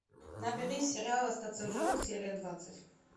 набери сериал остаться в живых серия двадцать